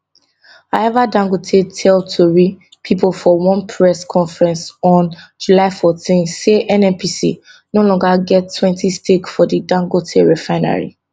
however dangote tell tori pipo for one press conference on july 14 say nnpc no longer gettwentystake for di dangote refinery